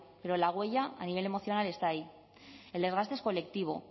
pero la huella a nivel emocional está ahí el desgaste es colectivo